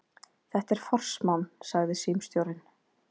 Þetta er forsmán, sagði símstjórinn.